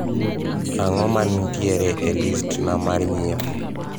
ang`o manitiere e list na mar nyiepo